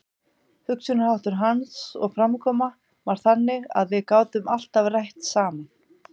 Hugsunarháttur hans og framkoma var þannig að við gátum alltaf rætt saman.